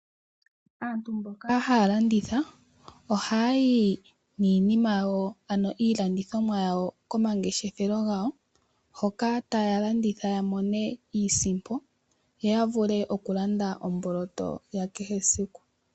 Aantu mboka haya landitha, ohaya yi niilandithomwa yawo komangeshefelo gawo, hoka taya landitha ya mone iisimpo, yo ya vule okulanda omboloto ya kehe esiku.